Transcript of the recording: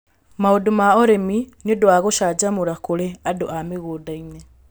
Maũndũ ma ũrĩmi nĩ ũndũ wa gũcanjamũra k.urĩ andũ a mĩgũnda-inĩ.